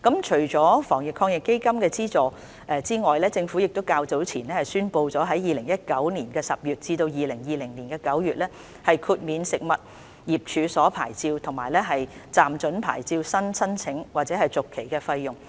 除防疫抗疫基金的資助外，政府較早前亦宣布了在2019年10月至2020年9月豁免食物業處所牌照及暫准牌照新申請或續期的費用。